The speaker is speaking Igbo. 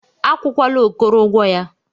Akwụkwala Okoro ụgwọ ya.